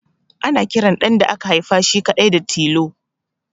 Ana kiran ɗan da aka haifa shi kaɗai da suna Tilo